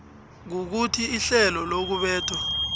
kukuthi ihlelo lokubethwa